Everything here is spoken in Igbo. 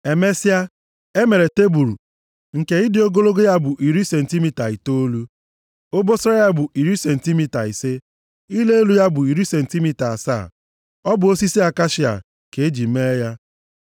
Emesịa, o mere tebul nke ịdị ogologo ya bụ iri sentimita itoolu. Obosara ya bụ iri sentimita ise, ịla elu ya bụ iri sentimita asaa. Ọ bụ osisi akashia ka o ji mee ya.